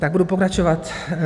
Tak budu pokračovat.